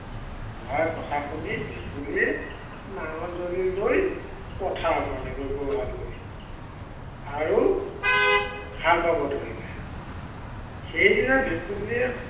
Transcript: বুঢ়াৰ কথা শুনি ভেকুলীয়ে নাঙল যুঁৱলি লৈ পথাৰ পালেগৈ, গৰু হাল লৈ। আৰু, হাল বাব ধৰিলে। সেই দিনা ভেকুলীয়ে